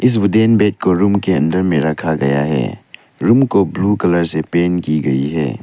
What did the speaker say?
Wooden bed को room के अंदर में रखा गया है रूम को ब्लू कलर से पेंट की गई है।